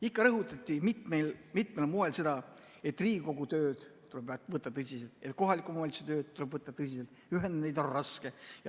Ikka rõhutati mitmel moel seda, et Riigikogu tööd tuleb võtta tõsiselt, kohaliku omavalitsuse tööd tuleb võtta tõsiselt, ühendada neid on raske.